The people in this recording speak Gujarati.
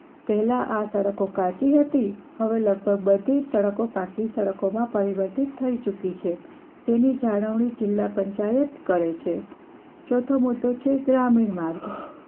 પહેલા તેની સડકો કાચી હતી હવે લગભગ બધી જ સડકો પાક્કી સડકો માં પરિવર્તિત થઇ ચુકી છે તેની જાણવણી જિલ્લા પંચાયત કરે છે ચોથો મુદ્દો છે ગ્રામીણ માર્ગ